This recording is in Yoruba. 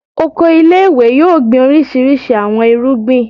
Oko ile-iwe yoo gbin orisirisi awọn irugbin